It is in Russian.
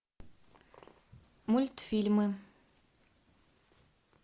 мультфильмы